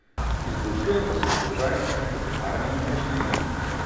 Izboljšuje pa se položaj s hipotekarnimi posojili.